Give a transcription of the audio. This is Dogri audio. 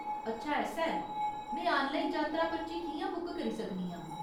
अच्छा ऐसा ऐ ! में आनलाइन जातरा पर्ची कि'यां बुक करी सकनी आं ?